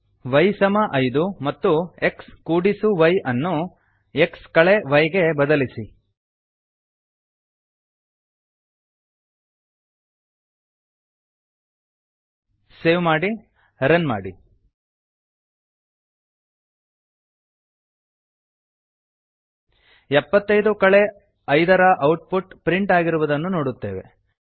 y5 y ಸಮ ಐದು ಮತ್ತು xy ಎಕ್ಸ್ ಕೂಡಿಸು ವೈ ಅನ್ನು x ಯ್ ಎಕ್ಸ್ ಕಳೆ ವೈ ಗೆ ಬದಲಿಸಿ ಸೇವ್ ಮಾಡಿ ರನ್ ಮಾಡಿ 75 5ಎಪ್ಪತ್ತೈದು ಕಳೆ ಐದ ರ ಔಟ್ ಪುಟ್ ಪ್ರಿಂಟ್ ಆಗಿರುವುದನ್ನು ನೋಡುತ್ತೇವೆ